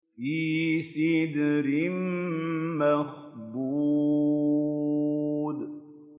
فِي سِدْرٍ مَّخْضُودٍ